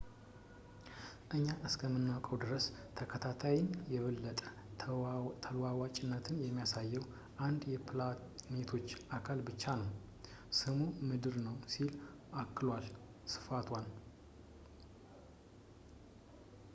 እኛ እስከምናውቀው ድረስ ከታይታን የበለጠ ተለዋዋጭነትን የሚያሳየው አንድ የፕላኔቶች አካል ብቻ ነው ስሙም ምድር ነው ሲል አክሏል ስቶፋን